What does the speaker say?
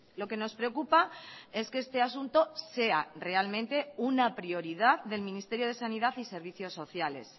lo que nos preocupa es que este asunto sea realmente una prioridad del ministerio de sanidad y servicios sociales